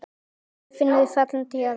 Laufin eru fallin til jarðar.